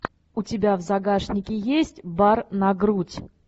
у тебя в загашнике есть бар на грудь